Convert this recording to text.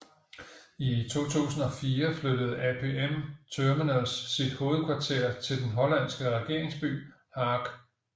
I 2004 flyttede APM Terminals sit hovedkvarter til den hollandske regeringsby Haag